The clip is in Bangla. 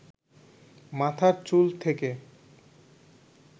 মাথার চুল থেকে